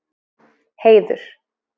Heiður